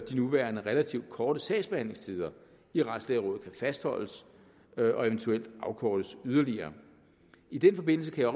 de nuværende relativt korte sagsbehandlingstider i retslægerådet kan fastholdes og eventuelt afkortes yderligere i den forbindelse kan